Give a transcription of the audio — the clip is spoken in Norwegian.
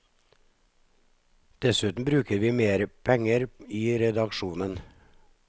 Dessuten bruker vi mer penger i redaksjonen.